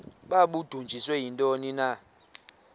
babudunjiswe yintoni na